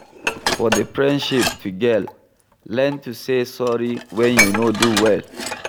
For the friendship to gel, learn to say sorry when you no do well